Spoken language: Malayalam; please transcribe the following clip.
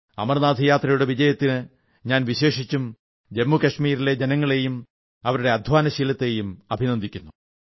അമർനാഥ് യാത്രയുടെ വിജയത്തിന് ഞാൻ വിശേഷിച്ചും ജമ്മു കാശ്മീരിലെ ജനങ്ങളെയും അവരുടെ അധ്വാനശീലത്തെയും അഭിനന്ദിക്കുന്നു